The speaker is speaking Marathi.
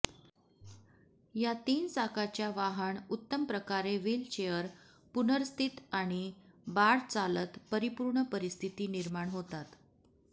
या तीन चाकाच्या वाहन उत्तम प्रकारे व्हीलचेअर पुनर्स्थित आणि बाळ चालत परिपूर्ण परिस्थिती निर्माण होतात